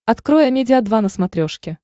открой амедиа два на смотрешке